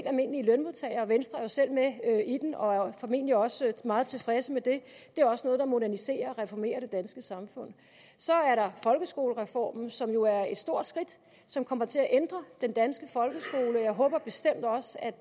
almindelige lønmodtagere venstre er jo selv med i den og er formentlig også meget tilfreds med det det er også noget der moderniserer og reformerer det danske samfund så er der folkeskolereformen som jo er et stort skridt og som kommer til at ændre den danske folkeskole jeg håber bestemt også at